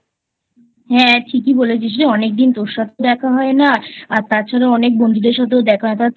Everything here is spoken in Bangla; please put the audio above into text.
হ্যাঁ ঠিকই বলেছিস রে অনেকদিন তোর সাথেও দেখা হয় না তাছাড়া অনেক বন্ধুদের সাথেও দেখা হয় না